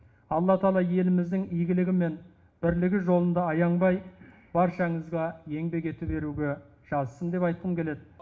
алла тағала еліміздің игілігі мен бірлігі жолында аянбай баршаңызға еңбек ете беруге жазсын деп айтқым келеді